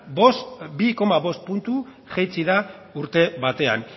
bi koma bost puntu jaitsi da urte batean